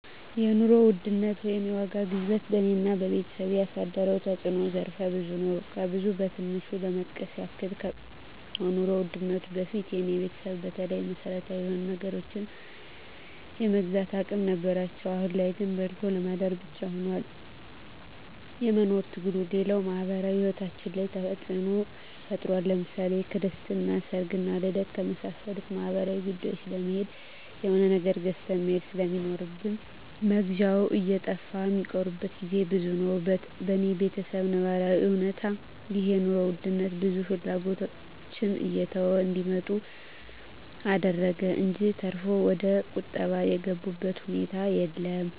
የኑሮ ውድነት ወይም የዋጋ ግሽበት በኔና በቤተሰቤ ያሳደረው ተጽኖ ዘርፈ ብዙ ነው። ከብዙ በትንሹ ለመጥቀስ ያክል ከኑሮ ውድነቱ በፊት የኔ ቤተሰብ በተለይ መሰረታዊ የሆኑ ነገሮችን የመግዛት አቅም ነበራቸው አሁን ላይ ግን በልቶ ለማደር ብቻ ሁኗል የመኖር ትግሉ፣ ሌላው ማህበራዊ ሂወታችን ላይ ተጽኖ ፈጥሯል ለምሳሌ ክርስትና፣ ሰርግና ልደት ከመሳሰሉት ማህበራዊ ጉዳዮች ለመሄድ የሆነ ነገር ገዝተህ መሄድ ስለሚኖር መግዣው እየጠፋ ሚቀሩበት ግዜ ብዙ ነው። በኔ በተሰብ ነባራዊ እውነታ ይህ የኑሮ ውድነት ብዙ ፍላጎቶችን እየተው እንዲመጡ አደረገ እንጅ ተርፎ ወደቁጠባ የገቡበት ሁኔታ የለም።